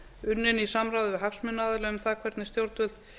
unnin í samráði við hagsmunaaðila um það hvernig stjórnvöld